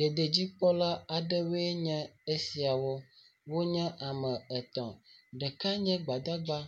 Dediedzikpɔla aɖewo nye esiawo. Wonye ame etɔ̃. Ɖeka nye gbadagba